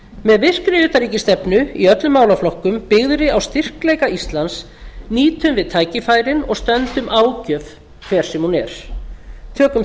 með virkri utanríkisstefnu í öllum málaflokkum byggðri á styrkleika íslands nýtum við tækifærin og stöndumst ágjöf hver sem hún er tökum